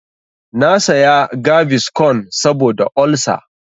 Na saya gaviscon saboda olsa.